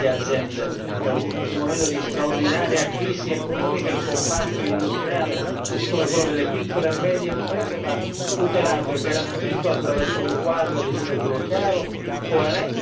In un momento di straordinaria crisi economica, il comparto industriale, così come quello delle piccole e medie imprese, va tutelato e garantito attraverso un quadro legislativo chiaro, coerente con le procedure condivise.